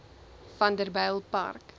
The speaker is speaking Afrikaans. vanderbijlpark